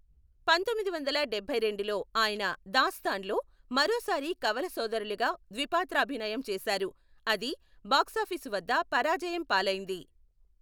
పంతొమ్మిదివందల డెబ్బైరెండులో ఆయన 'దాస్తాన్' లో మరోసారి కవల సోదరులుగా ద్విపాత్రాభినయం చేశారు, అది బాక్సాఫీసు వద్ద పరాజయం పాలైంది.